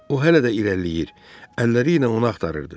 O hələ də irəliləyir, əlləri ilə onu axtarırdı.